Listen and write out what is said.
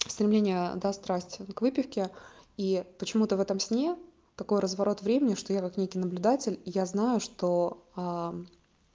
стремление да страсть к выпивке и почему-то в этом сне такой разворот времени что я как некий наблюдатель я знаю что